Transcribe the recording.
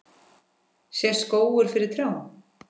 Sést skógur fyrir trjám?